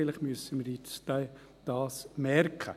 Vielleicht müssen wir uns dies nun merken.